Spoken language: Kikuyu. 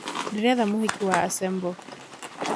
ndĩretha mũhiki wa asembo